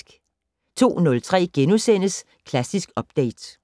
02:03: Klassisk Update *